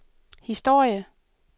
historie